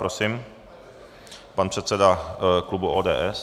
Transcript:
Prosím, pan předseda klubu ODS.